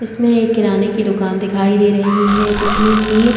इसमें एक किराने की दुकान दिखाई दे रही हैं जिसमे कि--